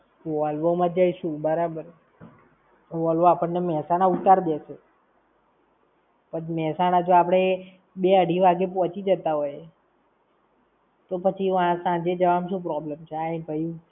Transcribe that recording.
Volvo માં જઈશું બરાબર. Volvo આપણને મેહસાણા ઉત્તર દેશે. પછી મેહસાણા જો આપણે બે-અઢી વાગે પહોંચી જતા હોય, તો પછી સાંજે જવામાં શું problem છે?